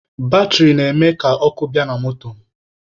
Batịrị na-eme ka ọkụ bịa na moto